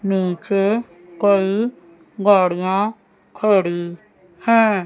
नीचे कई गाड़ियां खड़ी हैं।